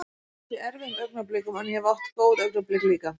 Ég hef lent í erfiðum augnablikum en ég hef átt góð augnablik líka.